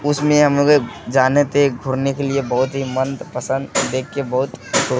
उसमें हम लोग एक जाने थे घूरने के लिए बहोत ही मंदपंसद देख के बहोत खुश --